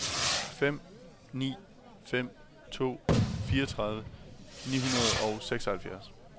fem ni fem to fireogtredive ni hundrede og seksoghalvfjerds